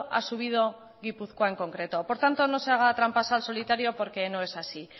ha subido gipuzkoa en concreto por tanto no se haga trampas al solitario porque no es así